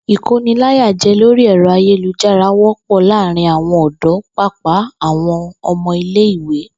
Ìkóniláyàjé̩ lórí è̩ro̩ ayélujára wó̩pò̩ láàárín àwo̩n ò̩dó̩ pàápàá àwo̩n o̩mo̩ ilé ìwé